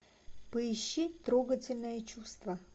поищи трогательное чувство